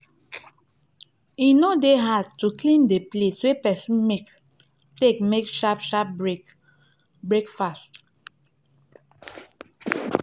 e no dey hard to clean di place wey person take make sharp sharp break break fast